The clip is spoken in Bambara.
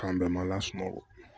K'an bɛɛ malasunɔgɔ